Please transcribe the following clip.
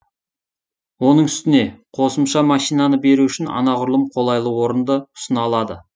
оның үстіне қосымша машинаны беру үшін анағұрлым қолайлы орынды ұсына алады